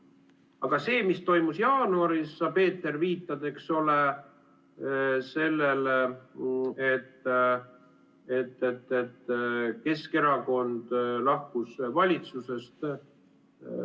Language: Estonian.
Aga see, mis toimus jaanuaris – sa, Peeter, viitad sellele, eks ole, et Keskerakond lahkus valitsusest.